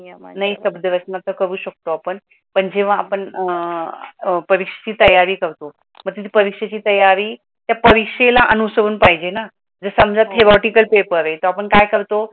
नवीन शबध रचना करू शकतो आपण, पण जेव्हा आपण अं परीक्षेची तयारी करतो, पण परीक्षेची तयारी त्या परीक्षेला अनुसरून पाहिजे ना, तर समज theoretical पेपर आहे, मग आपण काय करतो?